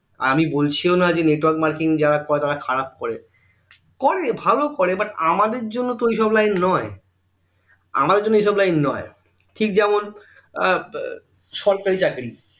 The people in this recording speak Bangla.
আমি বলছিও না যে network marketing যারা করে তারা খারাব করে করে ভালো করে but আমাদের জন্য তো ওইসব লাইন নয় আমাদের জন্য ঠিক যেমন আহ সরকারি চাকরী